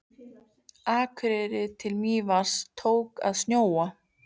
Akureyri til Mývatns tók að snjóa.